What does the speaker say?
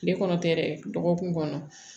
Tile kɔnɔ tɛ dɛ dɔgɔkun kɔnɔ